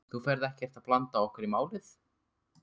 Þú ferð ekkert að blanda okkur í málið?